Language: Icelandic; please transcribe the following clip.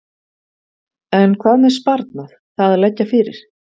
En hvað með sparnað, það að leggja fyrir?